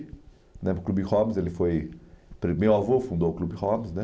né para o Clube Robbins, ele foi... Meu avô fundou o Clube Robbins, né?